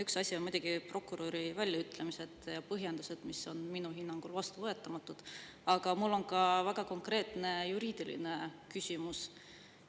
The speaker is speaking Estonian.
Üks asi on muidugi prokuröri väljaütlemised ja põhjendused, mis on minu hinnangul vastuvõetamatud, aga mul on ka väga konkreetne juriidiline küsimus.